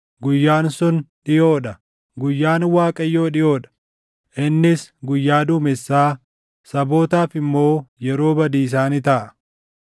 Guyyaan sun dhiʼoo dha; Guyyaan Waaqayyoo dhiʼoo dha; innis guyyaa duumessaa, sabootaaf immoo yeroo badiisaa ni taʼa.